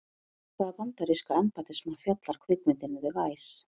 Um hvaða bandaríska embættismann fjallar kvikmyndin The Vice?